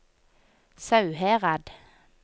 Sauherad